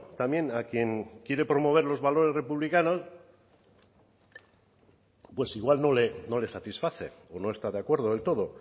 también a quien quiere promover los valores republicanos pues igual no le satisface o no está de acuerdo del todo